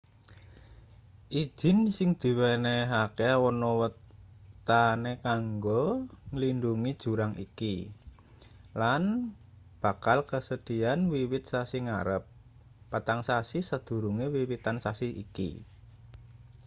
idin sing diwenehke ana wateane kanggo nglindhungi jurang iki lan bakla kasedhiyan wiwit sasi ngarep patang sasi sadurunge wiwitan sasi iki